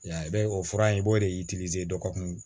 O fura in i b'o de dɔgɔkun